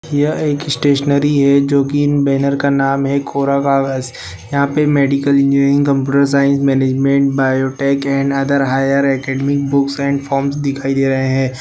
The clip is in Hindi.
यह एक स्टेशनरी है जो कि इन बेनर का नाम है कोरा कागज यहाँ पे medical engineering computer science management biotech and other higher academic books and forms दिखाई दे रहे है।